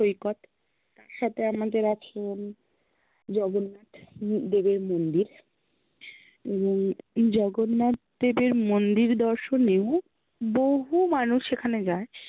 সাথে আমাদের আছেন জগন্নাথ দেবের মন্দির উম জগন্নাথ দেবের মন্দির দর্শনেও বহু মানুষ সেখানে যায়